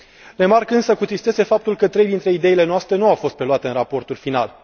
Remarc însă cu tristețe faptul că trei dintre ideile noastre nu au fost preluate în raportul final.